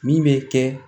Min bɛ kɛ